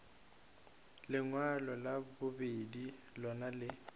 lengwalo la bobedi lona le